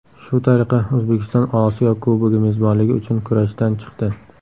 Shu tariqa O‘zbekiston Osiyo Kubogi mezbonligi uchun kurashdan chiqdi.